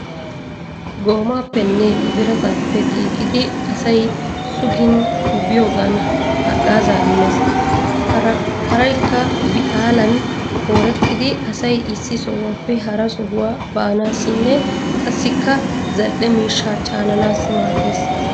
Goomaapenne birataape giigidi asay sugin biyogan haggaaza immees. Paraykka bixaalan koorettidi asay issi sohuwaappe hara sohuwaa baanaassinne qassikka zal"e miishsha caananaassi maaddeees.